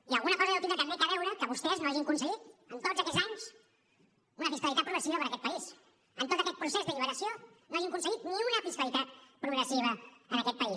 i alguna cosa deu tindre també a veure que vostès no hagin aconseguit en tots aquests anys una fiscalitat progressiva per a aquest país que en tot aquest procés d’alliberació no hagin aconseguit ni una fiscalitat progressiva en aquest país